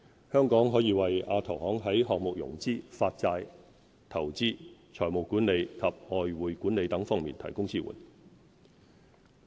香港可以為亞投行在項目融資、發債、投資、財務管理及外匯管理等方面提供支援。